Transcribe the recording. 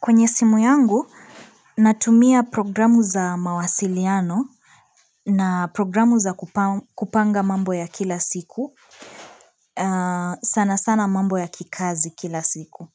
Kwenye simu yangu, natumia programu za mawasiliano na programu za kupanga mambo ya kila siku, sana sana mambo ya kikazi kila siku.